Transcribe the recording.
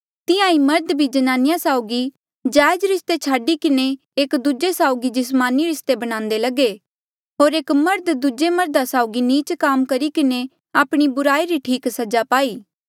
तिहां ईं मर्ध भी ज्नानिया साउगी जायज रिस्ते छाडी किन्हें एक दूजे साउगी जिस्मानी रिस्ते बणान्दे लगे होर एक मर्ध दूजे मर्धा साउगी नीच काम करी किन्हें आपणी बुराई री ठीक सजा पाई